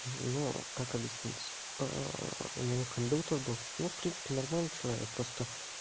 ну как объяснить у него кондуктор был в принципе нормальный человек просто